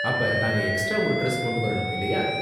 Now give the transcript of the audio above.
அப்ப, நாங்க எக்ஸ்ட்ரா ஒரு டிரெஸ் கொண்டு வரணும், இல்லயா?